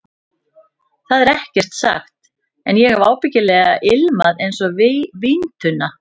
Það var ekkert sagt, en ég hef ábyggilega ilmað einsog víntunna.